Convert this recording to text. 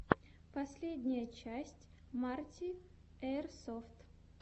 последняя часть марти эирсофт